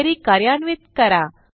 query कार्यान्वित करा